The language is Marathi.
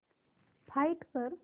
फाइंड कर